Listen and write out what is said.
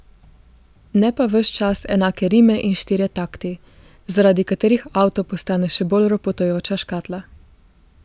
Ne pa ves čas enake rime in štirje takti, zaradi katerih avto postane še bolj ropotajoča škatla.